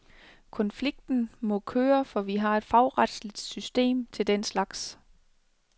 Konflikten må køre, for vi har et fagretsligt system til den slags.